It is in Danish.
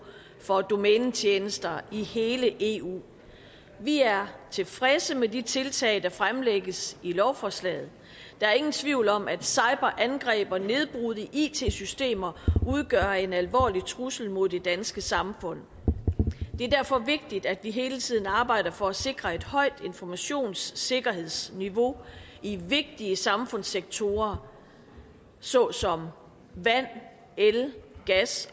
for domænetjenester i hele eu vi er tilfredse med de tiltag der fremlægges i lovforslaget der er ingen tvivl om at cyberangreb og nedbrud i it systemer udgør en alvorlig trussel mod det danske samfund det er derfor vigtigt at vi hele tiden arbejder for at sikre et højt informationssikkerhedsniveau i vigtige samfundssektorer såsom vand el gas